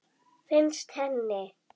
Finnst henni.